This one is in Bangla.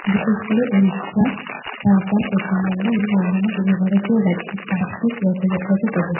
বিশেষ করে উড়িষ্যা ঝাড়খন্ড পশ্চিমবঙ্গ এবং অন্যান্য পূর্ব ভারতীয় রাজ্যে বার্ষিক রথযাত্রাকে বোঝায়।